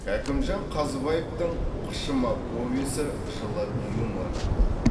кәкімжан қазыбаевтың қышыма повесі жылы юморға толы